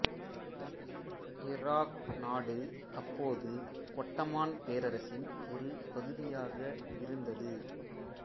Iraq நாடு அப்போது Ottoman பேரரசின் ஒரு பகுதியாக இருந்தது